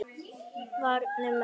Vanir menn.